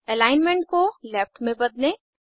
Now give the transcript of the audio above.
alignment को left में बदलें